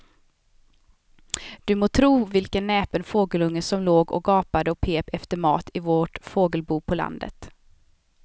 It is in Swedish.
Du må tro vilken näpen fågelunge som låg och gapade och pep efter mat i vårt fågelbo på landet.